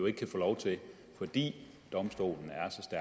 ikke kan få lov til fordi domstolen